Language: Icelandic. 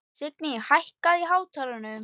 Signý, hækkaðu í hátalaranum.